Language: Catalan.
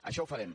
això ho farem